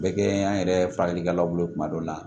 Bɛɛ kɛ an yɛrɛ furakɛlikɛlaw bolo kuma dɔw la